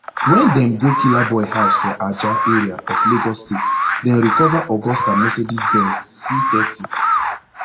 wen dem go killaboi house for ajah area of lagos state dem recova augusta mercedes benz cthirty